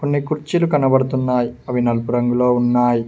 కొన్ని కుర్చీలు కనబడుతున్నాయ్ అవి నలుపు రంగులో ఉన్నాయ్.